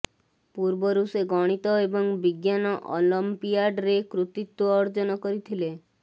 ପୂର୍ବରୁ ସେ ଗଣିତ ଏବଂ ବିଜ୍ଞାନ ଅଲମ୍ପିଆଡରେ କୃତିତ୍ବ ଅର୍ଜନ କରିଥିଲେ